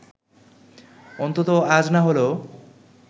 অন্তত আজ না হলেও